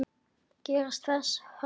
Gerist þess þörf.